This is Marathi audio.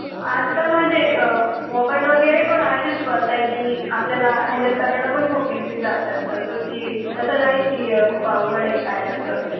आजकल मधे mobile वगेरे पण अशे बनतेत कि आपल्याला handle करायला पण खूप easy जातात, जसं कि, असं नाही कि खूप अवघड ए काय असं